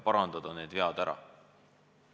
Vead tuleb ära parandada.